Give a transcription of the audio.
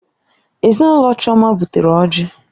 Ezinụlọ Chioma butere ọjị.